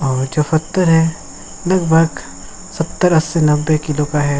और जो पत्थर है लग-भग सत्तर अस्सी नब्वे किलो का है।